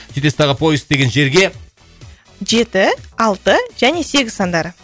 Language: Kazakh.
сөйтесіз дағы поиск деген жерге жеті алты және сегіз сандары